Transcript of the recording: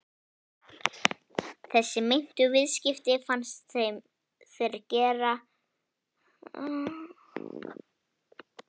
Þessi meintu viðskipti fannst þeim þeir geta tengt hvarfi